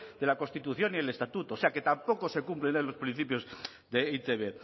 de la constitución y el estatuto o sea que tampoco se cumplen ahí los principios de e i te be